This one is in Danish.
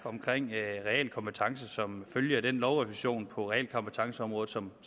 som følge af den lovrevision på realkompetenceområdet som